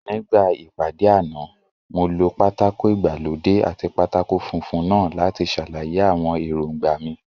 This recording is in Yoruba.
Nígbà ìpàdé àná, mo lo pátákó ìgbàlódé àti pátákó funfun náà láti ṣàlàyé àwọn èròńgbà mi